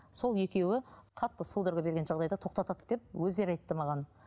сол екеуі қатты судорога берген жағдайда тоқтатады деп өздері айтты маған